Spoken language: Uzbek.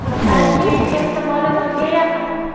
Balki ehtimoli nolga yaqin.